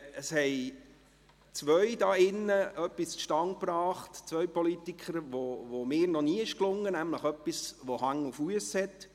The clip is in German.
Zwei Politiker hier drin haben etwas zustande gebracht, das mir noch nie gelungen ist, nämlich etwas, das Hand und Fuss hat.